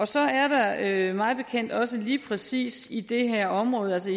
så er der mig bekendt også lige præcis i det her område altså